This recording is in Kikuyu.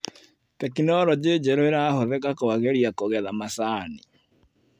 Teknologĩ njerũ ĩrahũthĩka kwagĩria kũgetha macani.